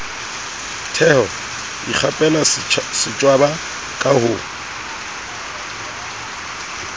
theho ikgapela setjwaba ka ho